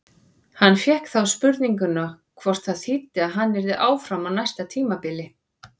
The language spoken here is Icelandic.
Hann fékk þá spurninguna hvort það þýddi að hann yrði áfram á næsta tímabili?